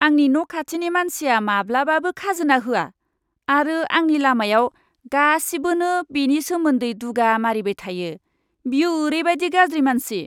आंनि न' खाथिनि मानसिया माब्लाबाबो खाजोना होआ आरो आंनि लामायाव गासिबोनो बेनि सोमोन्दै दुगा मारिबाय थायो। बियो ओरैबादि गाज्रि मानसि।